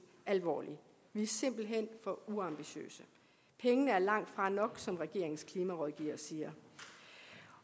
alvorligt vi er simpelt hen for uambitiøse pengene er langtfra nok som regeringens klimarådgiver siger